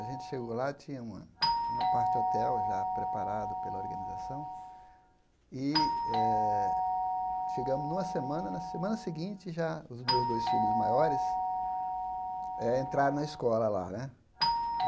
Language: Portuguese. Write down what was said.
A gente chegou lá, tinha uma um apart-hotel já preparado pela organização, e eh chegamos numa semana, na semana seguinte já os meus dois filhos maiores eh entraram na escola lá, né?